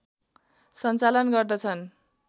सञ्चालन गर्दछ्न्